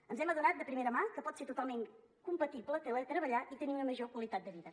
ens hem adonat de primera mà que pot ser totalment compatible teletreballar i tenir una major qualitat de vida